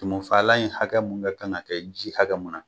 Tumufaalan in hakɛ mun kan ka na kɛ ji hakɛ mun na